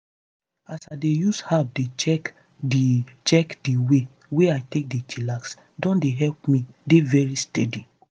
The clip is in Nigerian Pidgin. as i dey use app dey check di check di way wey i take dey chillax don dey help me dey very steady.